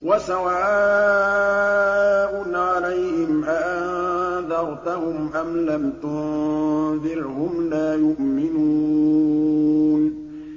وَسَوَاءٌ عَلَيْهِمْ أَأَنذَرْتَهُمْ أَمْ لَمْ تُنذِرْهُمْ لَا يُؤْمِنُونَ